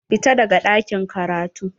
Fita daga ɗakin karatu.